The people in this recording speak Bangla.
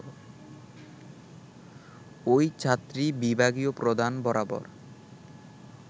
ওই ছাত্রী বিভাগীয় প্রধান বরাবর